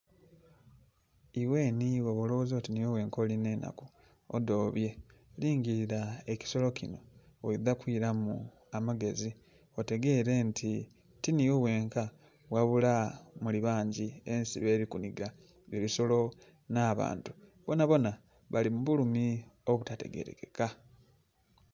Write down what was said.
Ighe nhi bwoba ologhoza oti nh'ighe ghenka olinha enhaku, odhobye, lingilira ekisolo kinho, oidha kwiramu amagezi otegeere nti ti nh'ighe ghenka ghabula muli bangi ensi beli kuniga ebisolo nh'abantu bonabona bali mu bulumi obutategerekeka.